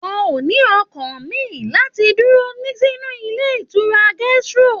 Wọn o ní ọkàn mí láti dúró sínú ilé ìtura gastro.